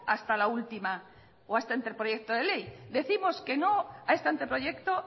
hasta la última o a este anteproyecto de ley decimos que no a este anteproyecto